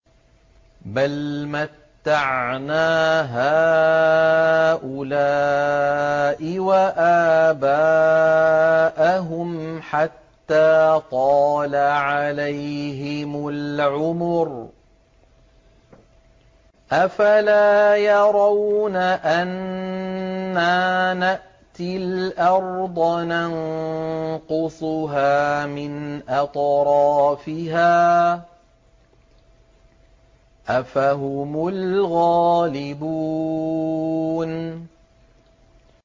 بَلْ مَتَّعْنَا هَٰؤُلَاءِ وَآبَاءَهُمْ حَتَّىٰ طَالَ عَلَيْهِمُ الْعُمُرُ ۗ أَفَلَا يَرَوْنَ أَنَّا نَأْتِي الْأَرْضَ نَنقُصُهَا مِنْ أَطْرَافِهَا ۚ أَفَهُمُ الْغَالِبُونَ